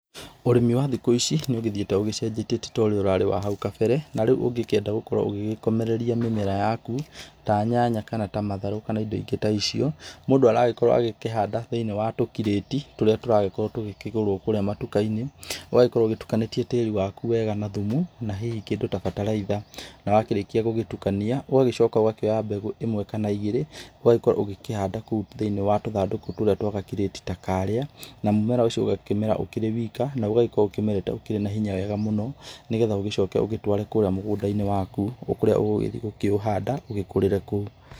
Ũrĩmi wa thikũ ici, nĩ ũgĩthiĩtee ũgĩcenjetie, ti ta ũrĩa warĩ wa hau kabere. Ta rĩu ũgĩkĩenda gũgĩkorwo ũgĩgĩkomereria mĩmera yaku, ta nyanya kana ta matharũ kana indo ingĩ ta icio, mũndũ aragĩkorwo akĩhanda thĩinĩ wa tũkirĩti, tũrĩa tũragĩkorwo tũkĩgũrwo kũũria matuka-inĩ. Ugagĩkorwo ũtukanĩtie tĩĩri waku wega na thumu, na hihi kĩndũ ta bataraitha. Na wakĩrĩkia gũgĩtukania, ũgacoka ũgakĩoya mbegũ ĩmwe kana igĩrĩ ugagĩkorwo ũkĩhanda thĩinĩ wa tũthandũkũ tũu twa gakirĩtí ta karĩa, na mũmera ũcio ũgakĩmera ũkĩrĩ wika. Na ũgakorwo ũkĩmerete wĩna hinya wega mũno. Nĩgetha ũgĩcoke ũtũare kũrĩa mũgũnda-inĩ waku kũrĩa ũgũgĩthiĩ gũkĩũhanda ũgĩkũrĩre kuo.